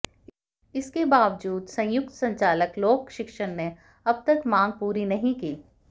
इसके बावजूद संयुक्त संचालक लोक शिक्षण ने अब तक मांग पूरी नहीं की